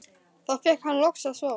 Þá fékk hann loks að sofa.